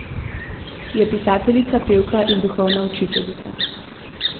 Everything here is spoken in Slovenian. Je pisateljica, pevka in duhovna učiteljica.